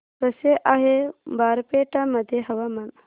कसे आहे बारपेटा मध्ये हवामान